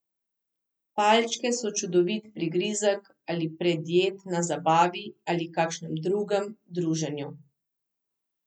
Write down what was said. Palčke so čudovit prigrizek ali predjed na zabavi ali kakšnem drugem druženju.